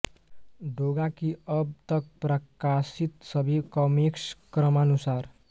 डोगा की अब तक प्रकाशित सभी कॉमिक्स क्रमानुसार